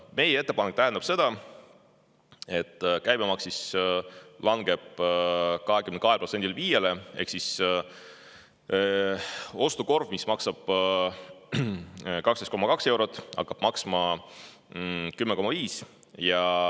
Meie ettepanek tähendab seda, et käibemaks langeb 22%‑lt 5%‑le ehk ostukorv, mis maksab 12,2 eurot, hakkab maksma 10,5.